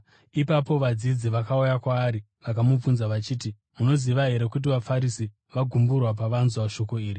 Ipapo vadzidzi vakauya kwaari vakamubvunza vachiti, “Munoziva here kuti vaFarisi vagumburwa pavanzwa shoko iri?”